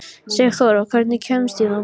Sigþóra, hvernig kemst ég þangað?